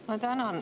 Ma tänan.